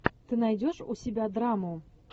ты найдешь у себя драму